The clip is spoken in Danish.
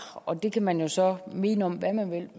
og det kan man så mene om hvad man